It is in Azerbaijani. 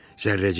Zərrəcik.